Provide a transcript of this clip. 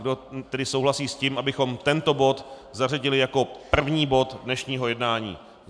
Kdo tedy souhlasí s tím, abychom tento bod zařadili jako první bod dnešního jednání?